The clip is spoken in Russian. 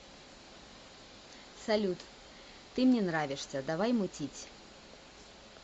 салют ты мне нравишься давай мутить